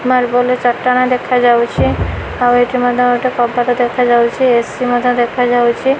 Marble ର ଚଟାଣ ଦେଖା ଯାଉଛି। ଆଉ ଏଠି ମଧ୍ୟ ଗୋଟେ କବାଟ ଦେଖା ଯାଉଛି। ଏ_ସି ମଧ୍ୟ ଦେଖା ଯାଉଛି।